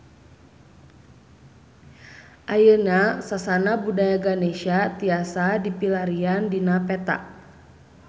Ayeuna Sasana Budaya Ganesha tiasa dipilarian dina peta